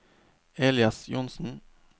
Elias Johnsen